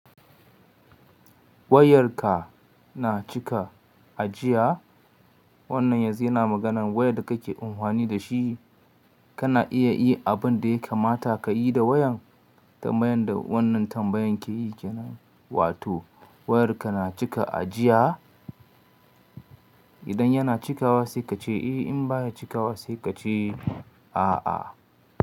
Wayarka na cika ajiya? Wannan yanzu yana maganan wayar da kake amfani da shi. Kana iya yi abin da ya kamata ka yi da wayan, tambayan da wannan tambayan ke yi kenan, wato wayarka na cika ajiya? Idan yana cikawa sai ka ce eh, in ba ya cikawa sai ka ce a'a.